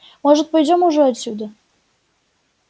может пойдём уже отсюда